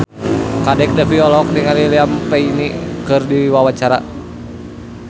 Kadek Devi olohok ningali Liam Payne keur diwawancara